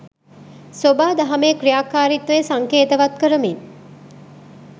සොබාදහමේ ක්‍රියාකාරීත්වය සංකේතවත් කරමින්